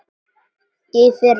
Í fyrra.